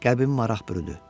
Qəlbimi maraq bürüdü.